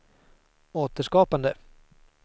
återskapande